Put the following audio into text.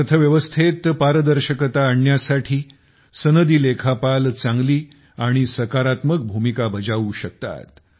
अर्थव्यवस्थेत पारदर्शकता आणण्यासाठी सनदी लेखापाल चांगली आणि सकारात्मक भूमिका बजावू शकतात